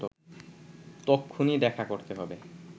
তক্ষুনি দেখা করতে হবে